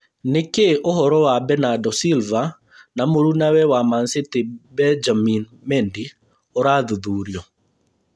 Nĩkĩĩ ũhoro wa Bernardo Silva na mũrũnawe wa MAn-City Benjamin Mendy ũrathuthurio